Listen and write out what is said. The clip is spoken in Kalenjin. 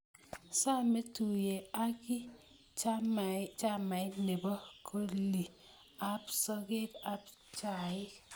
Somei tuye aki chamait ne bo kolii ab sokeek ab chaik.